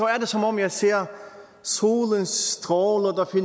er det som om jeg ser solens stråler